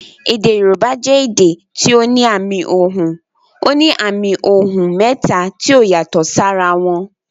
Èdè Yorùbá jẹ èdè tí ó ní àmì ohùn. Ó ní àmì ohùn mẹ́ta tí ó yàtò sí ara wọn